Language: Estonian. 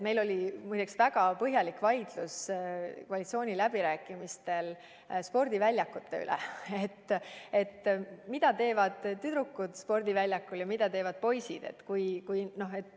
Meil oli muide väga põhjalik vaidlus koalitsiooniläbirääkimistel spordiväljakute üle, nimelt selle üle, mida teevad väljakul tüdrukud ja mida teevad poisid.